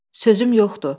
Sözüm yoxdur.